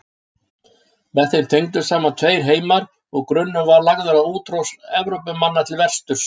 Með þeim tengdust saman tveir heimar og grunnur var lagður að útrás Evrópumanna til vesturs.